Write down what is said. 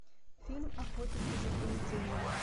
фильм охотники за приведениями